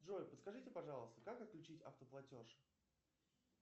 джой подскажите пожалуйста как отключить автоплатеж